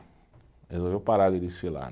Resolveu parar de desfilar.